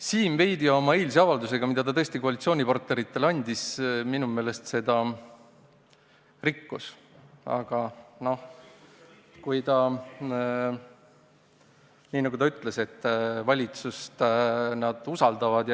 Siim oma eilse avaldusega, mille ta koalitsioonipartneritele andis, minu meelest veidi rikkus seda, aga nagu ta ütles, siis valitsust nad usaldavad.